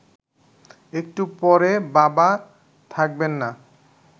একটু পরে বাবা থাকবেন না